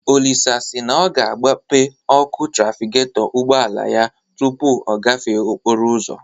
Olisa si na ọ ga-agbape ọkụ trafigetọ ụgbọala ya tụpụ ọ na-agafe okporo ụzọ